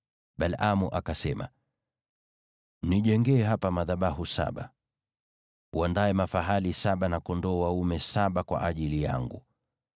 Balaamu akasema, “Nijengee hapa madhabahu saba, uandae mafahali saba na kondoo dume saba kwa ajili yangu.”